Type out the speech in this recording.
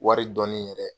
Wari dɔɔnin yɛrɛ